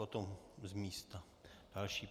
Potom z místa další.